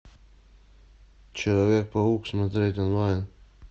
человек паук смотреть онлайн